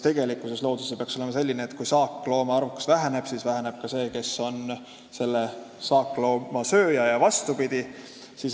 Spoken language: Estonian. Tegelikkuses peaks looduses olema nii, et kui saakloomade arvukus väheneb, siis väheneb ka nende loomade arvukus, kes on selle saaklooma sööjad.